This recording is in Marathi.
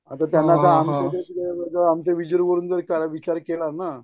आता त्यांना आमच्या वरून जर विचार केला ना